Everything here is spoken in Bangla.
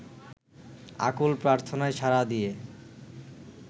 আকুল প্রার্থনায় সাড়া দিয়ে